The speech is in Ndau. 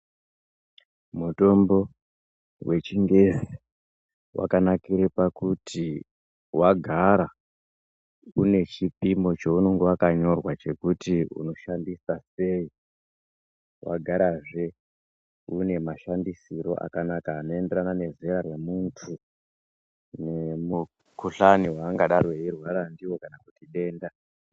Mutombo vechingezi vakanakire pakuti vagara une chipimo chounonge vakanyorwa chokuti unoshandisa sei ,vagara zve une mashandisiro akanaka anoenderane nezera remuntu nemukuhlane vaangadaro veirwara naro kana kuti denda.